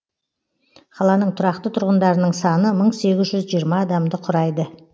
қаланың тұрақты тұрғындарының саны мың сегіз жүз жиырма адамды құрайды